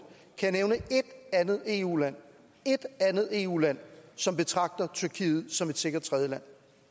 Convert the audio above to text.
kan nævne ét andet eu land ét andet eu land som betragter tyrkiet som et sikkert tredjeland